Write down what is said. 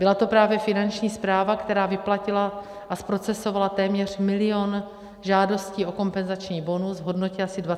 Byla to právě Finanční správa, která vyplatila a zprocesovala téměř milion žádostí o kompenzační bonus v hodnotě asi 23 miliard.